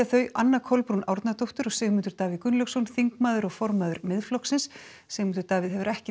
þau Anna Kolbrún Árnadóttir og Sigmundur Davíð Gunnlaugsson þingmaður og formaður Miðflokksins Sigmundur Davíð hefur ekki